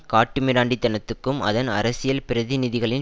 காட்டு மிராண்டி தனத்துக்கும் அதன் அரசியல் பிரதிநிதிகளின்